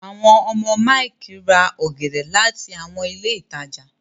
àwọn ọmọ Mike rà ògèdè láti àwọn ilé ìtàjà.